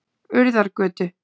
Urðargötu